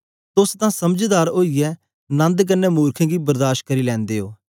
तोस तां समझदार ओईयै नन्द कन्ने मुर्खें गी बर्दाश करी लैंदे ओ